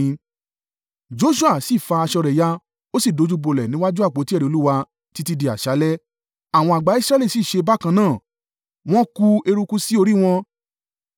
Joṣua sì fa aṣọ rẹ̀ ya, ó sì dojúbolẹ̀ níwájú àpótí ẹ̀rí Olúwa títí di àṣálẹ́. Àwọn àgbà Israẹli sì ṣe bákan náà, wọ́n ku eruku sí orí wọn.